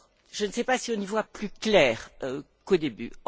Je ne sais pas si on y voit plus clair qu'au début.